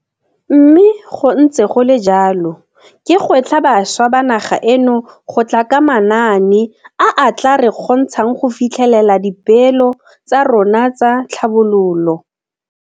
Mme go ntse go le jalo, ke gwetlha bašwa ba naga eno go tla ka manaane a a tla re kgontshang go fitlhelela dipeelo tsa rona tsa tlhabololo.